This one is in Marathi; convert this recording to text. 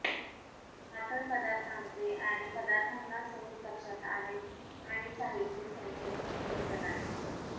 पातळ पदार्थांचे आणि पदार्थांना सहज लक्षात आहेत आणि साहित्य संचयन खंड प्रदान